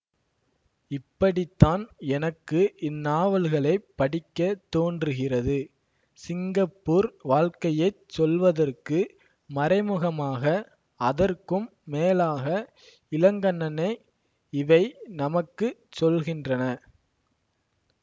இப்படித்தான் எனக்கு இந்நாவல்களைப் படிக்க தோன்றுகிறது சிங்கப்பூர் வாழ்க்கையைச் சொல்வதற்கு மறைமுகமாக அதற்கும் மேலாக இளங்கண்ணனை இவை நமக்கு சொல்கின்றன